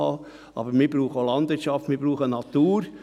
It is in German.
Wir brauchen aber auch Landwirtschaft und Natur.